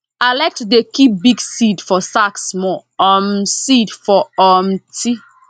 i like to dey keep big seed for sack small um seed for um ti